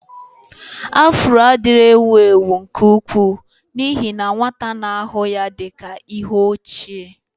Afro adịghị ewu ewu nke ukwuu n'ihi na nwata na-ahụ ya dị ka ihe ochie.